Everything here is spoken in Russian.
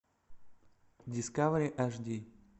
дискавери аш ди